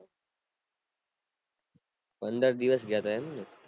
પંદર દિવસ ગયા હતા એમને